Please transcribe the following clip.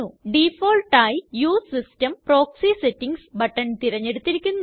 ഡിഫോളി ആയി use system proxy settings button തിരഞ്ഞെടുത്തിരിക്കുന്നു